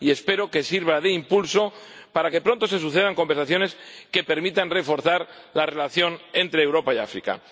Espero que sirva de impulso para que pronto se sucedan conversaciones que permitan reforzar la relación entre Europa y África.